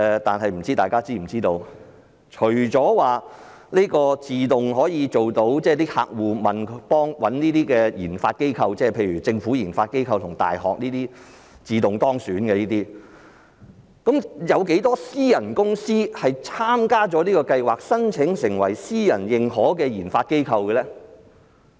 但是，不知大家是否知道？除了自動可以入選，即客戶找這些研發機構，例如政府研發機構及大學，這些能夠自動當選，有多少私人公司參加了這項計劃，申請成為私人認可的研發機構呢？